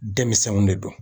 Denmisɛnninw de don